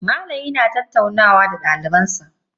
Malami yana tattaunawa da daliban sa.